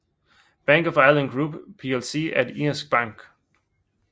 Bank of Ireland Group plc er en irsk bank